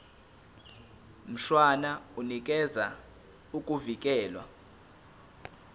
mshwana unikeza ukuvikelwa